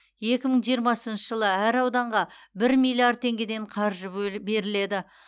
екі мың жиырмасыншы жылы әр ауданға бір миллиард теңгеден қаржы беріледі